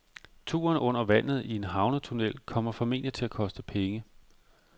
Turen under vandet i en havnetunnel kommer formentlig til at koste penge.